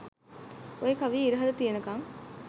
ඔය කවිය ඉරහඳ තියෙනකං